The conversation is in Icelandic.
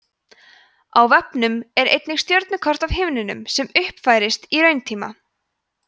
á vefnum er einnig stjörnukort af himninum sem uppfærist í rauntíma